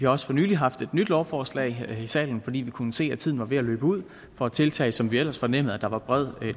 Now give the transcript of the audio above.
også for nylig haft et nyt lovforslag her i salen fordi vi kunne se at tiden var ved at løbe ud for et tiltag som vi ellers fornemmede der var bred